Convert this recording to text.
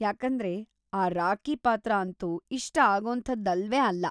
ಯಾಕಂದ್ರೆ ಆ ರಾಕಿ ಪಾತ್ರ ಅಂತೂ ಇಷ್ಟ ಆಗೋಂಥದ್ದಲ್ವೇ ಅಲ್ಲ.